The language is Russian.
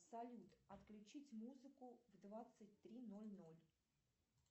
салют отключить музыку в двадцать три ноль ноль